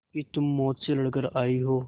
कि तुम मौत से लड़कर आयी हो